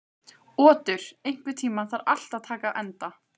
Otur, einhvern tímann þarf allt að taka enda.